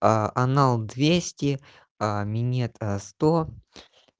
анал двести а минет сто